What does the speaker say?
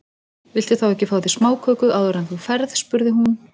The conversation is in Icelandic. Viltu þá ekki fá þér smáköku áður en þú ferð spurði hún.